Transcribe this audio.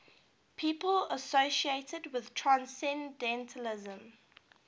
people associated with transcendentalism